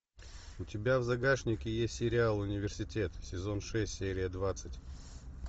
у тебя в загашнике есть сериал университет сезон шесть серия двадцать